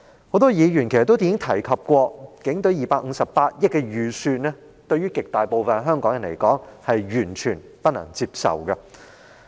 很多議員已提及，警隊258億元的預算開支對極大部分香港人來說，是完全不能接受。